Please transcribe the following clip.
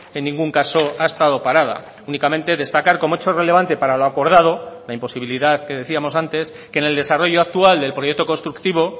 en ningún caso ha estado parada únicamente destacar como hecho relevante para lo acordado la imposibilidad que decíamos antes que en el desarrollo actual del proyecto constructivo